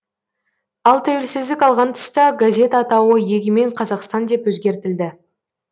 ал тәуелсіздік алған тұста газет атауы егемен қазақстан деп өзгертілді